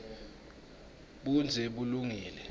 budze bulungile